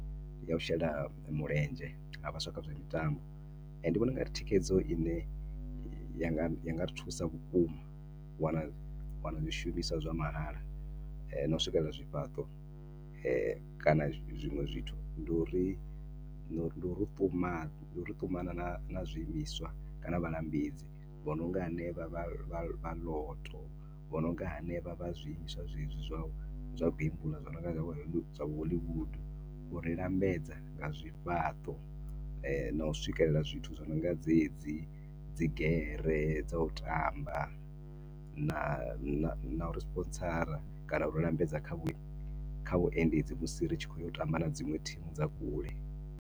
Ndi ya u shela mulenzhe ha vhaswa kha zwa mitambo. Ndi vhona u nga ri thikhedzo i ne i nga ri thusa vhukuma, u wana, u wana zwishumiswa zwa mahala na u swikedza zwifhaṱo. Kana zwiṅwe zwithu, ndi u ri, ndi u ri ṱumanya, ndi u ri ṱumanya na na zwiimiswa kana vhalambedzi vho no nga henevha vha vha vha Lotto, vho no nga henevha vha zwiimiswa zwezwi zwa u gembuḽa, zwi no nga zwa vho Hollywood u ri lambedza nga zwifhaṱo na u swikelela zwithu zwo no nga dzedzi dzigere dza u tamba na na uri sponsora kana u ri lambedza kha vhu, kha vhuendedzi musi ri tshi khou ya u tamba na dziṅwe thimu dzi re kule.